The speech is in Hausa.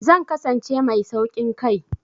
Zan kasance mai sauƙin kai.